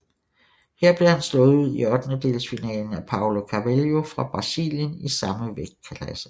Her blev han slået ud i ottendedelsfinalen af Paulo Carvalho fra Brasilien i samme vægtklasse